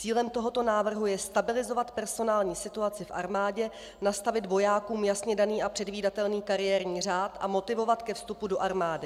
Cílem tohoto návrhu je stabilizovat personální situaci v armádě, nastavit vojákům jasně daný a předvídatelný kariérní řád a motivovat ke vstupu do armády.